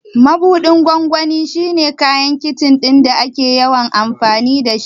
Mabuɗin gwangwani shi ne kayan Kicin ɗin da ake yawan amfani da shi.